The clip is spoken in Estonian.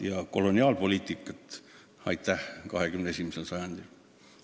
Ja koloniaalpoliitikat ajada 21. sajandil – no tänan, ei!